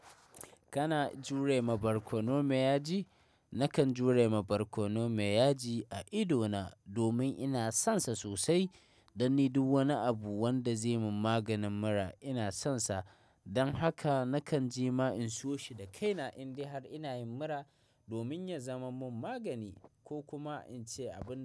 Kana jure ma barkono mai yaji? Nakan jure ma barkono mai yaji a ido na domin ina son sa sosai. Dan ni duk wani abu wanda zai mun maganin mura ina son sa. Dan haka nakan je ma in siyo shi da kaina in dai har ina yin mura domin ya zama mun magani ko kuma in ci abun da.